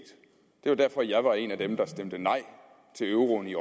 det var derfor jeg var en af dem der stemte nej til euroen i